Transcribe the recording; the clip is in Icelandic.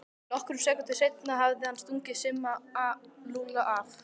Nokkrum sekúndum seinna hafði hann stungið Simma og Lúlla af.